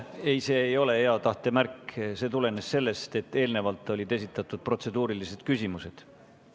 Ei, see ei ole hea tahte märk, see tulenes sellest, et eelnevalt olid esitatud protseduurilised küsimused.